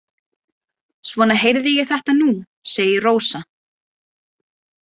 Svona heyrði ég þetta nú, segir Rósa.